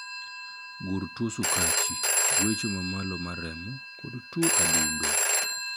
Gur tuo sukachi, gwecho ma malo mar remo, kod tuo adundo.